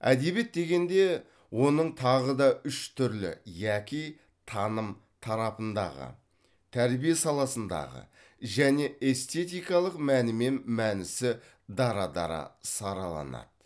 әдебиет дегенде оның тағы да үш түрлі яки таным тарапындағы тәрбие саласындағы және эстетикалық мәні мен мәнісі дара дара сараланады